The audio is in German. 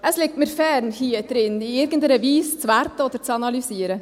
Es liegt mir fern, hier in diesem Saal in irgendeiner Weise zu werten oder zu analysieren.